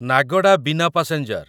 ନାଗଡା ବିନା ପାସେଞ୍ଜର